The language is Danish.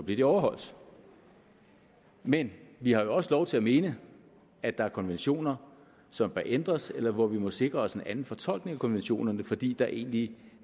de overholdt men vi har også lov til at mene at der er konventioner som bør ændres eller hvor vi må sikre os en anden fortolkning af konventionerne fordi der egentlig